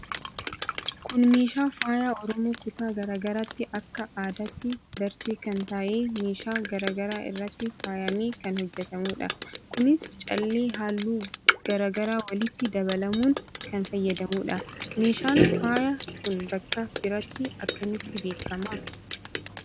Kun meeshaa faaya oromoo kutaa gara garaatti akka Aadaatti barte kan tahee meeshaa gara garaa irratti faayame kan hojjetamuudha. Kunis callee halluu gara garaa walitti dabalamuun kan faayamudha. Meeshaan faaya kun bakka biratti akkamitti beekama?